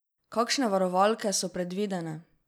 Kakšne varovalke so predvidene?